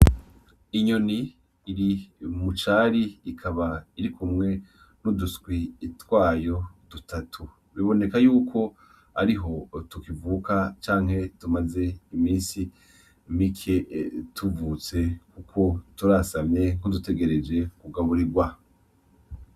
Inyoni iri mu cari ikaba irikumwe n'uduswi twayo dutatu, biboneka yuko ariho tukivuka canke tumaze imisi mike tuvutse kuko turasamye nkudutegereje kugaburirwa.